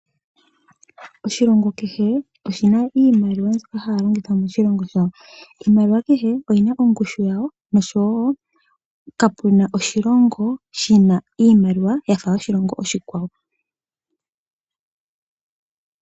Oshilongo kehe oshina iimaliwa mbyoka haya longitha . Iimaliwa kehe oyina ongushu yawo noshowoo kapuna oshilongo shina iimaliwa yafa yoshilongo oshikwawo.